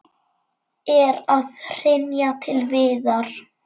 Er að hrynja til viðar.